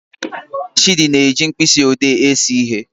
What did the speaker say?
Chidi na-eji mkpịsị odee ese ihe